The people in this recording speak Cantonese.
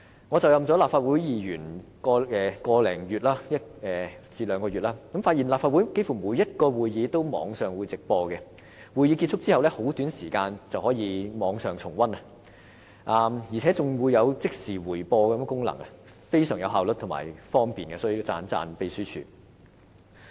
我就任立法會議員有個多兩個月，發現立法會幾乎每個會議都設網上直播，在會議結束後的很短時間內，市民便可在網上重溫，而且還有即時回播功能，十分有效率和方便——這方面要稱讚秘書處。